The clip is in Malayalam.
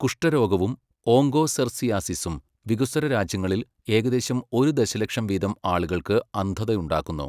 കുഷ്ഠരോഗവും ഓങ്കോസെർസിയാസിസും വികസ്വര രാജ്യങ്ങളിൽ, ഏകദേശം ഒരു ദശലക്ഷം വീതം ആളുകൾക്ക് അന്ധത ഉണ്ടാക്കുന്നു.